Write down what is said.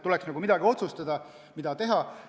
Tuleks otsustada, mida teha.